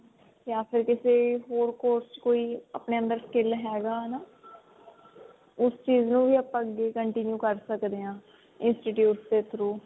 ਜਾ ਫਿਰ ਕਿਸੇ ਹੋਰ course ਕੋਈ ਆਪਨੇ ਅੰਦਰ skill ਹੈਗਾ ਹਨਾ ਉਸ ਚੇਜ ਨੂੰ ਵੀ ਆਪਾਂ ਅੱਗੇ continue ਕਰ ਸਕਦੇ ਹਾਂ institutes ਦੇ through